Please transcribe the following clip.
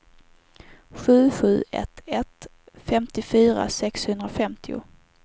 sju sju ett ett femtiofyra sexhundrafemtio